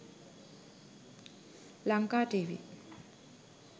lankatv